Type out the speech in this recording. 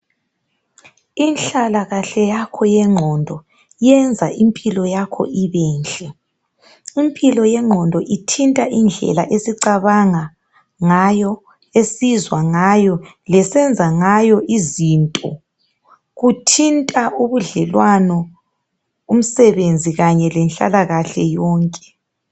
Inhlalakahle yakho yengqondo yenza impilo yakho ibenhle .Impilo yengqondo ithinta indlela esicabanga ngayo esizwangayo ,lesenza ngayo izinto. Kuthinta ubudlelwano , umsebenzi Kanye lenhlalakahle yonke.